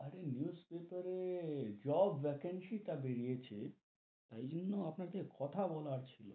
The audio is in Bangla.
আরে newspaper এ job vacancy টা বেরিয়েছে, তাই জন্য আপনাকে কথা বলার ছিল,